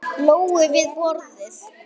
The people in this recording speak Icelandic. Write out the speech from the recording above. Lóu við borðið.